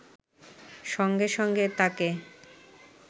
সঙ্গে সঙ্গে তাকে